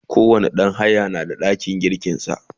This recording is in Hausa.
kowani ɗan haya na da ɗakin girkin sa